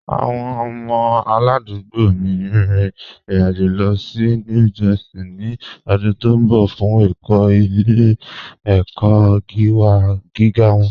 Awọn ọmọ aládùgbò mí n rìn ìrìn-àjọ̀ lọ sí New Jersey ni ọ̀dún tó nbọ̀ fun ẹkọ̀ ilẹ̀-ẹkọ̀ giga wọn